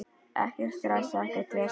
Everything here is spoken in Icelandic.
Ekkert stress, ekkert vesen.